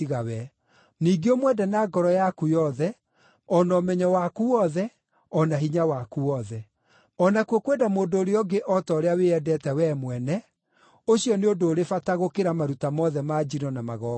Ningĩ ũmwende na ngoro yaku yothe, o na ũmenyo waku wothe, o na hinya waku wothe; o nakuo kwenda mũndũ ũrĩa ũngĩ o ta ũrĩa wĩendete wee mwene, ũcio nĩ ũndũ ũrĩ bata gũkĩra maruta mothe ma njino na magongona.”